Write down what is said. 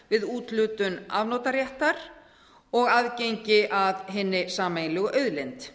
við úthlutun afnotaréttar og aðgengi að hinni sameiginlegu auðlind